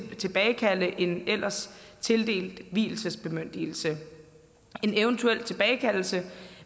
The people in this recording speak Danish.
tilbagekalde en ellers tildelt vielsesbemyndigelse en eventuel tilbagekaldelse